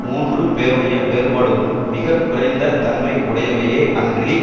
மூன்று பேருடைய வேறுபாடுகளும் மிக குறைந்த தன்மை உடையவையே அன்றி